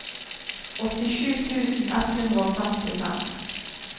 åttisju tusen ett hundre og femtifem